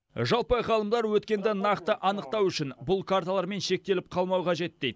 жалпы ғалымдар өткенді нақты анықтау үшін бұл карталармен шектеліп қалмау қажет дейді